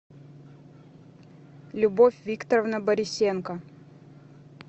любовь викторовна борисенко